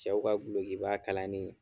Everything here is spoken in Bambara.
Cɛw ka gulokiba kalani.